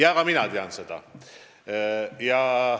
Ka mina tean seda.